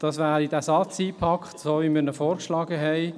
Dies wäre der so eingepackte Satz, wie wir diesen vorgeschlagen haben.